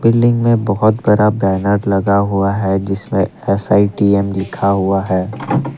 Building में बहोत बड़ा बैनर लगा हुआ है जिसमें एस_आई_टी_एस लिखा हुआ है।